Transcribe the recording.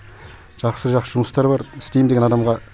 жақсы жақсы жұмыстар бар істейм деген адамға